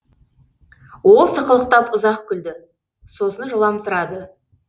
ол сықылықтап ұзақ күлді сосын жыламсырады